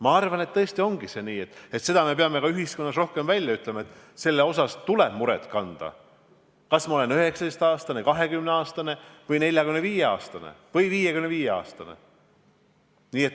Ma arvan, et tõesti ongi nii, et seda me peame ühiskonnas rohkem välja ütlema, et selle pärast tuleb muret tunda, olgu inimene 19-aastane, 20-aastane, 45-aastane või 55-aastane.